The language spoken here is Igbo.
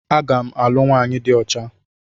Aga m alụ nwaanyị dị ọcha.